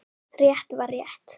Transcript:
Rétt var rétt.